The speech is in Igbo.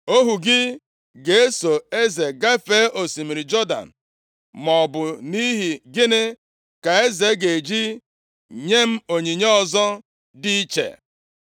Ohu gị ga-eso eze gafee osimiri Jọdan, maọbụ nʼihi gịnị ka eze ga-eji nye m onyinye ọzọ dị iche.